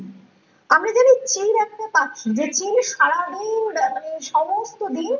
আমরা যদি সেই রাস্তা পশে দেখে নেই সারাদিন ধরে সমস্ত দিন